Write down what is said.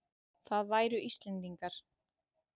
Það væru Íslendingar.